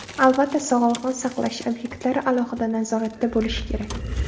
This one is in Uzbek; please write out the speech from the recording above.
Albatta, sog‘liqni saqlash obyektlari alohida nazoratda bo‘lishi kerak.